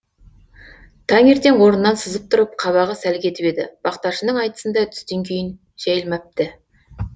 тәңертең орнынан сызып тұрып қабағы сәл кетіп еді бақташының айтысында түстен кейін жәйілмәпті